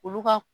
Olu ka